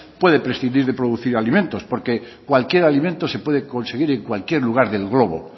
puede prescindir de producir alimentos porque cualquier alimento se puede conseguir en cualquier lugar del globo